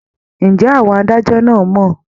Ǹjẹ́ àwọn adájọ́ náà mọ̀?